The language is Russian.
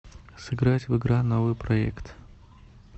сыграть в игра новыйпроект